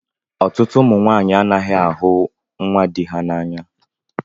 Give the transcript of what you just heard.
Ọtụtụ ụmụ nwanyị anaghị ahụ nwa di ha n'anya